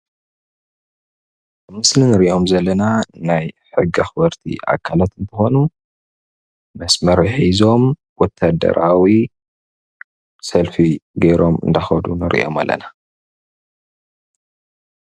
ምስሊ ንርኦም ዘለና ናይ ሕጊ ኣኽበርቲ ኣካላት አንትኾኑ መስመር ሕዞም ወታደራዊ ሰልፊ ገይሮም እንዳከዱ ንሪኦም ኣለና።